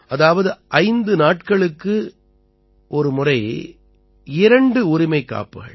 அதாவது 5 நாட்களுக்கு ஒருமுறை இரண்டு உரிமைக்காப்புகள்